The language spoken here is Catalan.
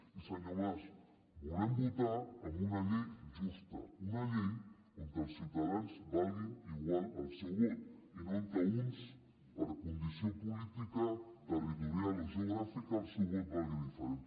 i senyor mas volem votar amb una llei justa una llei on els ciutadans valguin igual al seu vot i no on uns per condició política territorial o geogràfica el seu vot valgui diferent